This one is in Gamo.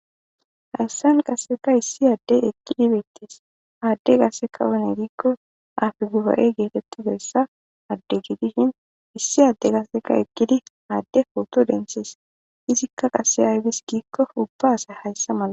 Hayssan qasseka issi adde ekkidi beettes aadde gaseka one giikko afi guba'e geetettideyssa adde gidishin issi adde gaseka ekkidi aadde pooto dentshees izikka qase aybis giikko ubba asay hayssa mala